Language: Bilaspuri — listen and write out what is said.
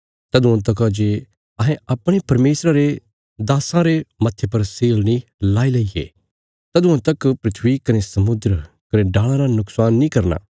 तदुआं तका जे अहें अपणे परमेशरा रे दास्सां रे मत्थे पर सील नीं लाई लेईये तदुआं तक धरती कने समुद्र कने डाल़ां रा नुक्शान नीं करना